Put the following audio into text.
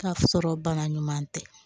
K'a sɔrɔ bana ɲuman tɛ